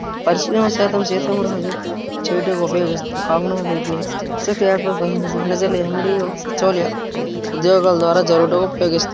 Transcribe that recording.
పరిచయం శాతం సీతమ్మ రాజు చేటూకు ఉపయోగిస్తారు కావున వీటిన మేనేజర్ ఎం_డి సిచోలియా ఉద్యోగాల ద్వారా జరుపుటకు ఉపయోగిస్తారు.